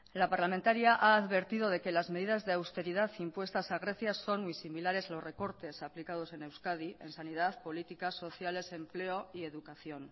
la parlamentaria ha advertido de que las medidas de austeridad impuestas a grecia son muy similares a los recortes aplicados en euskadi en sanidad políticas sociales empleo y educación